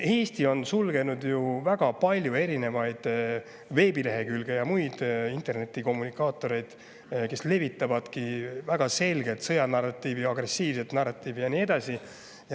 Eesti on ju sulgenud väga palju erinevaid veebilehekülgi ja, kus levitatakse väga selgelt sõjanarratiivi, agressiivset narratiivi ja nii edasi.